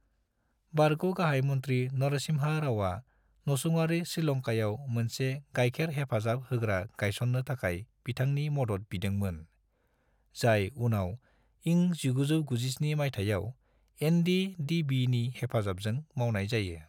बारग' गाहाय मन्थ्रि नरसिम्हा रावआ नसुंआरि श्रीलंकायाव मोनसे गायखेर हेफाजाब होग्रा गायस'ननो थाखाय बिथांनि मद'द बिदोंमोन, जाय उनाव इं 1997 माइथायाव एन.डी.डी.बी. नि हेफाजाबजों मावनाय जायो।